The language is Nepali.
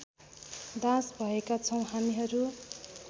दास भएका छौँ हामीहरू